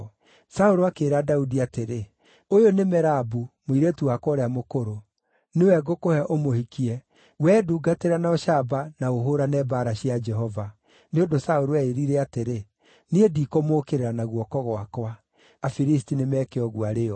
Saũlũ akĩĩra Daudi atĩrĩ, “Ũyũ nĩ Merabu, mũirĩtu wakwa ũrĩa mũkũrũ. Nĩwe ngũkũhe ũmũhikie; wee ndungatĩra na ũcamba, na ũhũũrane mbaara cia Jehova.” Nĩ ũndũ Saũlũ eĩĩrire atĩrĩ, “Niĩ ndikũmũũkĩrĩra na guoko gwakwa. Afilisti nĩ meke ũguo arĩ o!”